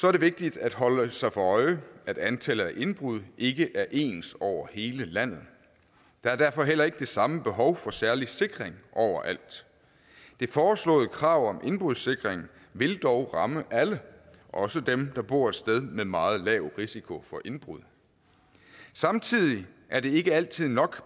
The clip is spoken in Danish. er det vigtigt at holde sig for øje at antallet af indbrud ikke er ens over hele landet der er derfor heller ikke det samme behov for særlig sikring overalt det foreslåede krav om indbrudssikring vil dog ramme alle også dem der bor et sted med meget lav en risiko for indbrud samtidig er det ikke altid nok